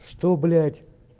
что блять